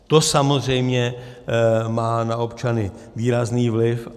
To samozřejmě má na občany výrazný vliv.